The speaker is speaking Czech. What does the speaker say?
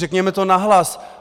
Řekněme to nahlas!